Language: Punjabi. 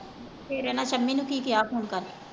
ਫੇਰ ਇਹਨਾਂ ਸ਼ਮੀ ਨੂੰ ਕੀ ਕਿਹਾ phone ਕਰਕੇ।